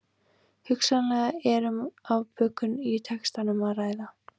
Hugsanlega er um afbökun í textanum að ræða.